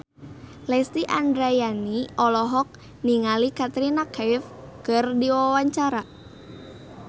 Lesti Andryani olohok ningali Katrina Kaif keur diwawancara